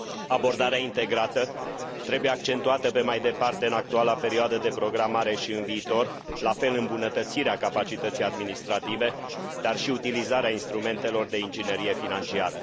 Abordarea integrată trebuie accentuată pe mai departe în actuala perioadă de programare și în viitor, la fel îmbunătățirea capacității administrative, dar și utilizarea instrumentelor de inginerie financiară.